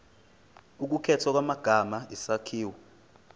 ukukhethwa kwamagama isakhiwo